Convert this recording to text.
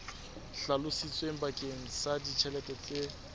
hlalositsweng bakeng sa ditjhelete tse